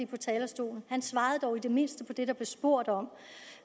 på talerstolen han svarede i det mindste på det der blev spurgt om